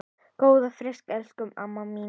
Góða ferð elsku amma mín.